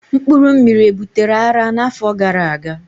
mpkuru mmiri e butere ara na afo gara aga?